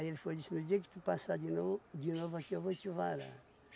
Aí ele foi e disse, no dia que tu passar de no de novo aqui, eu vou te varar.